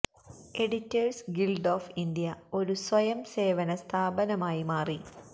editors Guild of India ഒരു സ്വയം സേവന സ്ഥാപനമായി മാറി